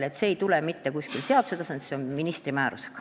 Nii et see ei tule mitte kuskilt seaduse tasandilt, vaid kehtestatakse ministri määrusega.